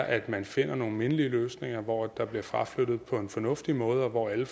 at man finder nogle mindelige løsninger hvor der bliver fraflyttet på en fornuftig måde og hvor alle